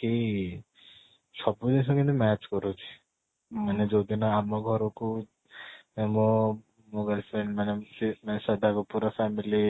କି ସବୁ ଜିନିଷ କେମିତି match କରୁଛି ମାନେ ଯୋଉ ଦିନ ଆମ ଘରକୁ ମୋ ମୋ girlfriend ମାନେ ସେ ମାନେ ଶ୍ରଦ୍ଧା କପୂର ର family